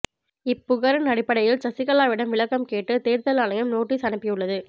இப்புகாரின் அடிப்படையில் சசிகலாவிடம் விளக்கம் கேட்டு தேர்தல் ஆணையம் நோட்டீஸ் அனுப்பியுள்ளது